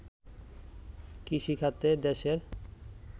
কৃষিখাতে দেশের